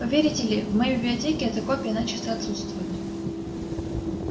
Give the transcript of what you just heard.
поверите ли в моей библиотеке эта копия начисто отсутствует